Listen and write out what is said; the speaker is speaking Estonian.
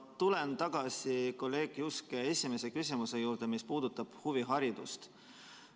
Ma tulen tagasi kolleeg Juske esimese küsimuse juurde, mis puudutab huviharidust.